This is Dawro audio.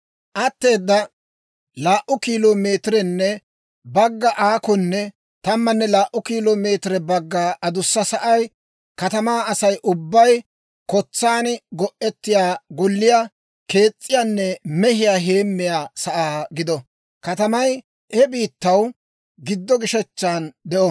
«Atteeda laa"u kilo meetirenne bagga aakonne tammanne laa"u kilo meetirenne bagga adussa sa'ay katamaa Asay ubbay kotsaan go'etiyaa golliyaa kees's'iyaanne mehiyaa heemmiyaa sa'aa gido; katamay he biittaw giddo gishechchan de'o.